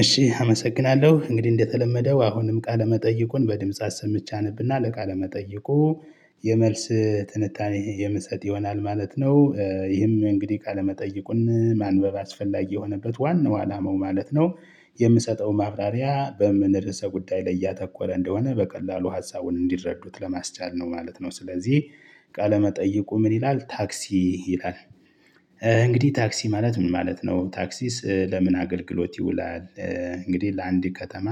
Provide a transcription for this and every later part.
እሺ አመሰግናለሁ። እንግዲህ እንደተለመደው አሁንም ቃለመጠይቁን በድምጽ አሰምቼ አነብና ለቃለመጠይቁ የመልስ ትንታኔ የምሰጥ ይሆናል ማለት ነው። ይህም እንግዲህ ቃለመጠይቁን ማንበብ አስፈላጊ የሆነበት ዋናው አላማው ማለት ነው። የምሰጠው ማብራሪያ በምን ርዕሰ ጉዳይ ላይ እያተኮረ እንደሆነ በቀላሉ ሀሳቡን እንዲረዱት ለማስቻል ነው ማለት ነው። ስለዚህ ቃለመጠየቁ ምን ይላል? ታክሲ ይላል እንግዲህ ታክሲ ማለት ምን ማለት ነው? ታክሲስ ለምን አገልግሎት ይውላል? እንግዲህ ለአንድ ከተማ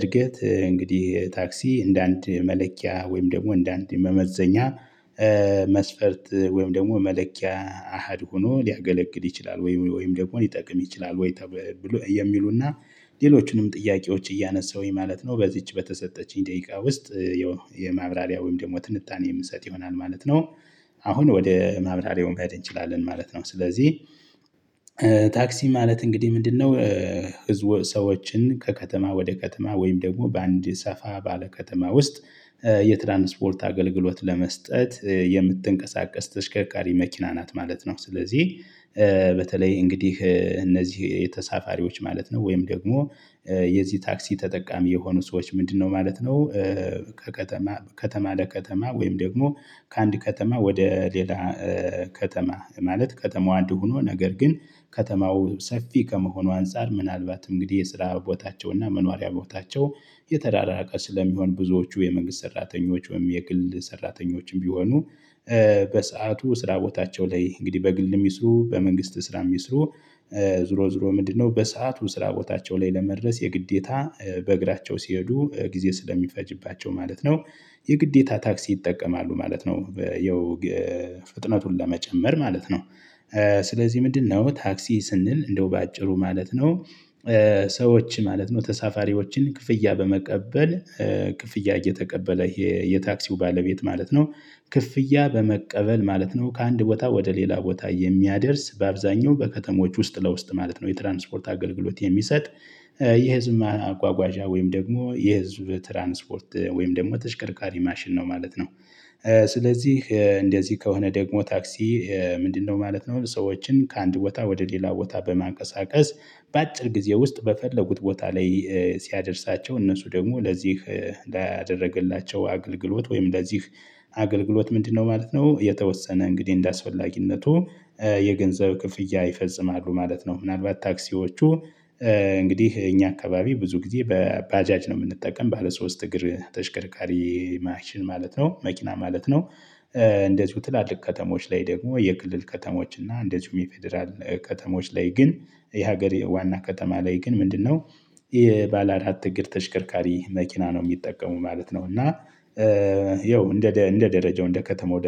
እርገት እንግዲህ ታክሲ እንደ አንድ መለኪያ ወይም ደግሞ እንደ አንድ መመዘኛ መስፈርት ወይም ደግሞ መለኪያ አሃድ ሆኖ ሊያገለግል ይችላል። ወይም ወይም ደግሞ ሊጠቅም ይችላል ወይ የሚሉና ሌሎቹንም ጥያቄዎች እያነሳሁኝ ማለት ነው በዚች በተሰጠችኝ ደቂቃ ውስጥ የማብራሪያ ወይም ደግሞ ትንታኔ የምሰጥ ይሆናል ማለት ነው። አሁን ወደ ማብራሪያው መሄድ እንችላለን። ማለት ነው ስለዚህ ታክሲ ማለት እንግዲህ ምንድነው? ህዝቦ ሰዎችን ከከተማ ወደ ከተማ ወይም ደግሞ በአንድ ሰፋ ባለ ከተማ ውስጥ የትራንስፖርት አገልግሎት ለመስጠት የምትንቀሳቀስ ተሽከርካሪ መኪና ናት ማለት ነው። ስለዚህ በተለይ እንግዲህ እነዚህ የተሳፋሪዎች ማለት ነው። ወይም ደግሞ የዚህ ታክሲ ተጠቃሚ የሆኑ ሰዎች ምንድነው ማለት ነው። ከከተማ ከተማ ለከተማ ወይም ደግሞ ከአንድ ከተማ ወደ ሌላ ከተማ ማለት ከተማው አንድ ሆኖ ነገር ግን ከተማው ሰፊ ከመሆኑ አንፃር ምናልባት እንግዲህ የስራ ቦታቸውና መኖሪያ ቦታቸው የተዳራራቀ ስለሚሆን ብዙዎቹ የመንግስት ሰራተኞች ወይም የግል ሰራተኞችም ቢሆኑ በሰአቱ ስራ ቦታቸው ላይ እንግዲህ በግል የሚስሩ በመንግስት ስራ የሚስሩ ዙሮ ዝሮ ምንድነው በሰአቱ ስራ ቦታቸው ላይ ለመድረስ የግዴታ በእግራቸው ሲሄዱ ጊዜ ስለሚፈጅባቸው ማለት ነው የግዴታ ታክሲ ይጠቀማሉ ማለት ነው። የው ፍጥነቱን ለመጨመር ማለት ነው። ስለዚህ ምንድነው ታክሲ ስንል? እንደው በአጭሩ ማለት ነው። ሰዎች ማለት ተሳፋሪዎችን ክፍያ በመቀበል ክፍያ እየተቀበለ ይሄ የታክሲው ባለቤት ማለት ነው። ክፍያ በመቀበል ማለት ነው ከአንድ ቦታ ወደ ሌላ ቦታ የሚያደርስ በአብዛኛው በከተሞች ውስጥ ለውስጥ ማለት ነው የትራንስፖርት አገልግሎት የሚሰጥ የህዝብ ማጓጓዣ ወይም ደግሞ የህዝብ ትራንስፖርት ወይም ደግሞ ተሽከርካሪ ማሽን ነው ማለት ነው። ስለዚህ እንደዚህ ከሆነ ደግሞ ታክሲ ምንድነው ማለት ነው? ሰዎችን ከአንድ ቦታ ወደ ሌላ ቦታ በማቀሳቀስ በአጭር ጊዜ ውስጥ በፈለጉት ቦታ ላይ ሲያደርሳቸው እነሱ ደግሞ ለዚህ ላደረገላቸው አገልግሎት ወይም ለዚህ አገልግሎት ምንድነው ማለት ነው? የተወሰነ እንግዲህ እንደአስፈላጊነቱ የገንዘብ ክፍያ ይፈጽማሉ ማለት ነው። ምናልባት ታክሲዎቹ እንግዲህ እኛ አካባቢ ብዙ ጊዜ በባጃጅ ነው የምንጠቀም። ባለ ሶስት እግር ተሽከርካሪ ማሽን ማለት ነው። መኪና ማለት ነው። እንደዚሁ ትላልቅ ከተሞች ላይ ደግሞ የክልል ከተሞች እና እንደዚሁም የፌደራል ከተሞች ላይ ግን የሀገሬ ዋና ከተማ ላይ ግን ምንድነው? የባለ አራት እግር ተሽከርካሪ መኪና ነው የሚጠቀሙ ማለት ነው። እና ይኸው እንደ እንደ ደረጃው እንደ ከተማው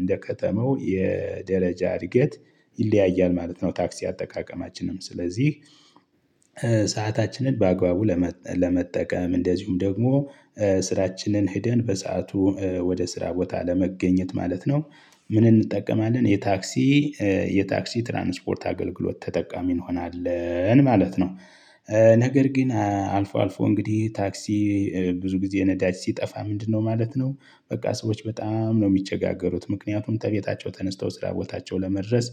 እንደ ከተማው የደረጃ እድገት ይለያያል ማለት ነው። ታክሲ አጠቃቀማችንም ስለዚህ ሰአታችንን በአግባቡ ለመጠቀም እንደዚሁም ደግሞ ስራችንን ሄደን በሰአቱ ወደ ስራ ቦታ ለመገኘት ማለት ነው። ምን እንጠቀማለን? የታክሲ የታክሲ ትራንስፖርት አገልግሎት ተጠቃሚ እንሆናለን ማለት ነው። ነገር ግን አልፎ አልፎ እንግዲህ ታክሲ ብዙ ጊዜ ነዳጅ ሲጠፋ ምንድነው ማለት ነው። በቃ ሰዎች በጣም ነው የሚቸጋገሩት ምክንያቱም ተቤታቸው ተነስተው ስራ ቦታቸው ለመድረስ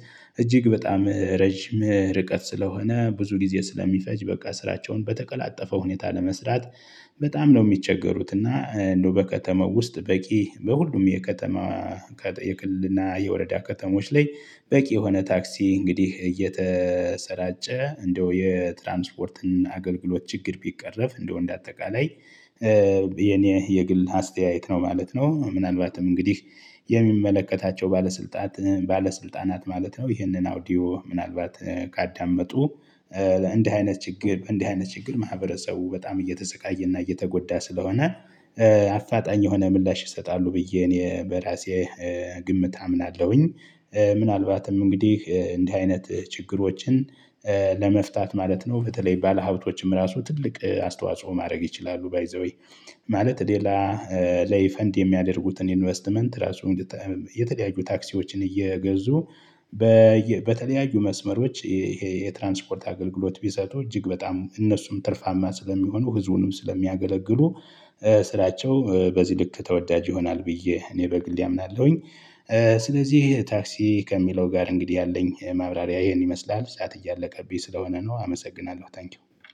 እጅግ በጣም ረጅም ርቀት ስለሆነ ብዙ ጊዜ ስለሚፈጅ በቃ ስራቸውን በተቀላጠፈው ሁኔታ ለመስራት በጣም ነው የሚቸገሩት። እና እንደው በከተማው ውስጥ በቂ በሁሉም የከተማ ከጠየቅልና የወረዳ ከተሞች ላይ በቂ የሆነ ታክሲ እንግዲህ እየተሰራጨ እንደው የትራንስፖርትን አገልግሎት ችግር ቢቀረፍ እንደው እንደ አጠቃላይ የኔ የግል አስተያየት ነው ማለት ነው። ምናልባትም እንግዲህ የሚመለከታቸው ባለስልጣት ባለስልጣናት ማለት ነው ይህንን አውዲዮ ምናልባት ካዳመጡ እንደ አይነት ችግር እንደ አይነት ችግር ማህበረሰቡ በጣም እየተሰቃየና እየተጎዳ ስለሆነ አፋጣኝ የሆነ ምላሽ ይሰጣሉ ብዬ እኔ በራሴ ግምት አምናለሁኝ። ምናልባትም እንግዲህ እንዲህ አይነት ችግሮችን ለመፍታት ማለት ነው። በተለይ ባለሀብቶችም ራሱ ትልቅ አስተዋጽኦ ማድረግ ይችላሉ። ባይ ዘ ዌይ ማለት ሌላ ለይ ፈንድ የሚያደርጉትን ኢንቨስትመንት ራሱ ራሱን የተለያዩ ታክሲዎችን እየገዙ በተለያዩ መስመሮች ይሄ የትራንስፖርት አገልግሎት ቢሰጡ እጅግ በጣም እነሱም ትርፋማ ስለሚሆኑ ህዝቡንም ስለሚያገለግሉ ስራቸው በዚህ ልክ ተወዳጅ ይሆናል ብዬ እኔ በግልድ አምናለሁኝ። ስለዚህ ታክሲ ከሚለው ጋር እንግዲህ ያለኝ ማብራሪያ ይሄን ይመስላል። ሰዓት እያለቀብኝ ስለሆነ ነው አመሰግናለሁ ታንኪው።